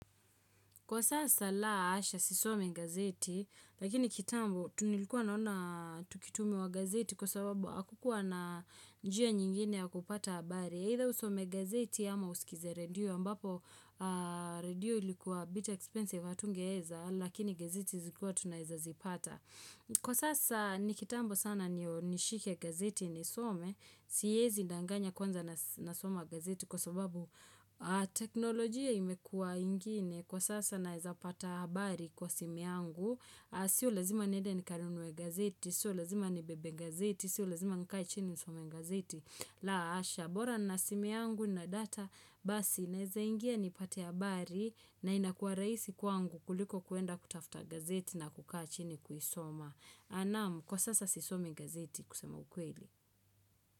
Kwa sasa la hasha sisomi gazeti, lakini kitambo tu nilikuwa naona tukitumiwa gazeti kwa sababu hakukuwa na njia nyingine ya kupata habari. Either usome gazeti ama usikize radio, ambapo radio ilikuwa a bit expensive hatunge eza, lakini gazeti zikuwa tunaeza zipata. Kwa sasa ni kitambo sana ndio nishike gazeti nisome, siezi ndanganya kwanza nasoma gazeti kwa sababu teknolojia imekua ingine. Kwa sasa naeza pata habari kwa simu yangu Sio lazima niende nikanunue gazeti Sio lazima nibebe gazeti Sio lazima nikae chini nisome gazeti la hasha bora nina simu yangu na data Basi naeza ingia nipate habari na inakua rahisi kwangu kuliko kuenda kutafuta gazeti na kukaa chini kuisoma Anamu kwa sasa sisome gazeti kusema ukweli.